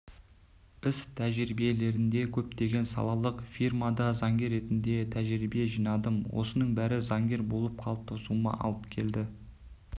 іс-тәжірибелерінде көптеген салалық фирмада заңгер ретінде тәжірибе жинадым осының бәрі заңгер болып қалыптасуыма алып келді